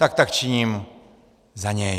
Tak tak činím za něj.